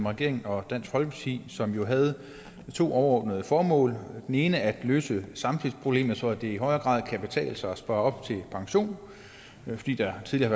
regeringen og dansk folkeparti som jo havde to overordnede formål det ene at løse samspilsproblemet så det i højere grad kan betale sig at spare op til pension fordi der tidligere